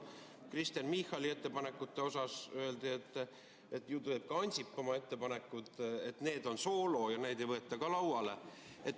Kristen Michali ettepanekute osas öeldi, et ju teeb ka Ansip oma ettepanekud, need on soolo ja neid ei võeta ka lauale.